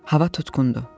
Hava tutqun idi.